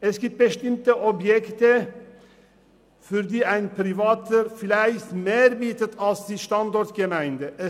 Es gibt bestimmte Objekte, für die ein Privater vielleicht mehr als die Standortgemeinde bietet.